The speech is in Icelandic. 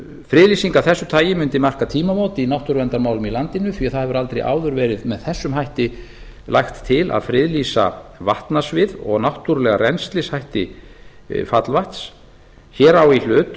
friðlýsing af þessu tagi mundi marka tímamót í náttúruverndarmálum í landinu því að það hefur aldrei áður verið með þessum hætti lagt til að friðlýsa vatnasvið og náttúrulega rennslishætti fallvatns hér á í hlut